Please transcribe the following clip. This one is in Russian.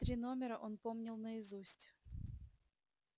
три номера он помнил наизусть